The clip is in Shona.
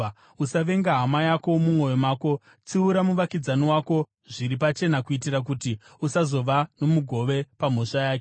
“ ‘Usavenga hama yako mumwoyo mako. Tsiura muvakidzani wako zviri pachena kuitira kuti usazova nomugove pamhosva yake.